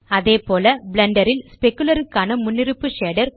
அதேபோல் பிளெண்டர் ல் ஸ்பெக்குலர் க்கான முன்னருப்பு ஷேடர்